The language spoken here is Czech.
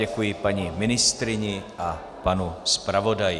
Děkuji paní ministryni a panu zpravodaji.